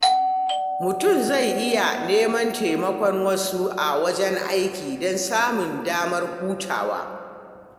Mutum zai iya neman taimakon wasu a wajen aiki don samun damar hutawa.